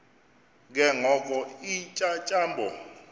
ke ngoko iintyatyambo